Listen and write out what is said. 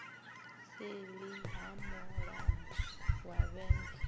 seḽi ha mulambo wa vhembe